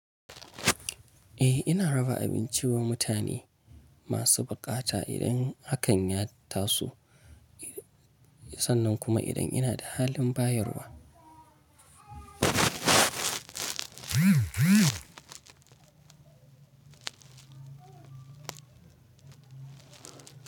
Eh ina raba abinci wa mutane masu buƙata idan hakan ya taso sannan kuma idan ina da halin bayarwa.